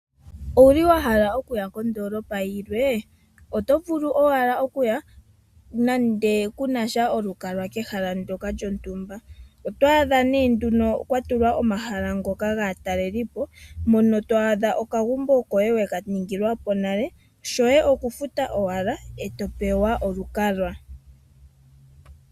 Owuli wa hala okuya kondoolopa yilwe oto vulu owala okuya nande kunasha olukalwa keshala ndyoka lyontumba otwaadha nee nduno kwatulwa omahala ngoka gaatalelipo mpono to adha okagumbo koye weka ningilwapo nale shoye okufuta ike ee topewa olukalwa.